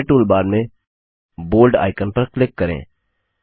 अब standard toolbar में bold icon पर क्लिक करें